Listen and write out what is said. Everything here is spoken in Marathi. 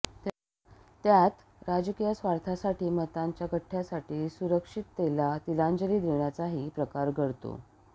त्यात राजकीय स्वार्थासाठी मतांच्या गठ्ठयासाठी सुरक्षिततेला तिलांजली देण्याचाही प्रकार घडतो